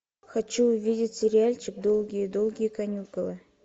хочу увидеть сериальчик долгие долгие каникулы